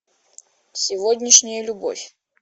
сегодняшняя любовь